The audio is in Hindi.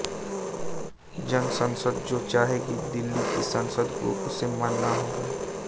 जन संसद जो चाहेगी दिल्ली की संसद को उसे मानना होगा